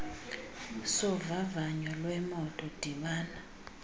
sovavanyo lwemoto dibana